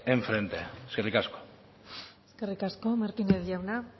en frente eskerrik asko eskerrik asko martínez jauna